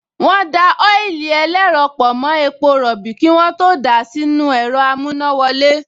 Wọ́n da ọ́ílì ẹlẹ́rọ pọ̀ mọ́ epo rọ̀bì kí wọ́n tó dà á sínú ẹ̀rọ amúnáwọlé